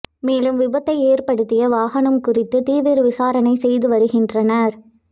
மேலும் விபத்தை ஏற்படுத்திய வாகனம் குறித்து தீவிர விசாரணை செய்து வருகின்றனர்